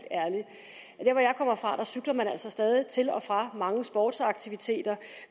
kommer fra cykler man altså stadig til og fra mange sportsaktiviteter